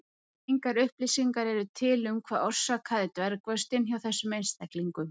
Engar upplýsingar eru til um hvað orsakaði dvergvöxtinn hjá þessum einstaklingum.